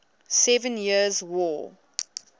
seven years war